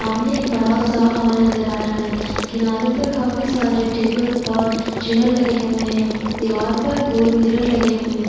सामने एक बड़ा सा हॉल नज़र आ रहा हैं किनारे पर काफी सारे टेबल ओर चेयर लगे हुए हैं दीवार पर गोल मिरर लगे हुए है।